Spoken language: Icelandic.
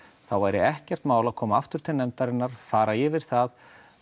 þá væri ekkert mál að koma aftur til nefndarinnar fara yfir það